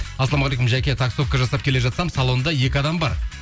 ассалаумағалейкум жаке таксовка жасап келе жатсам салонда екі адам бар